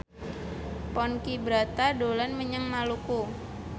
Ponky Brata dolan menyang Maluku